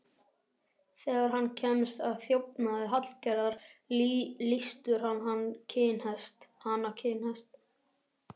Þegar hann kemst að þjófnaði Hallgerðar, lýstur hann hana kinnhest.